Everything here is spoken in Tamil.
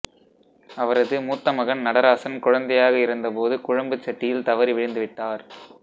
அவரது மூத்த மகன் நடராசன் குழந்தையாக இருந்த போது குழம்புச் சட்டியில் தவறி விழுந்துவிட்டார்